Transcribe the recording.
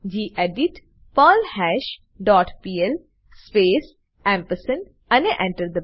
gedit perlhash dot PL space અને Enter